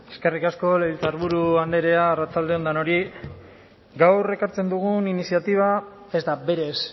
eskerrik asko legebiltzarburu andrea arratsalde on denori gaur ekartzen dugun iniziatiba ez da berez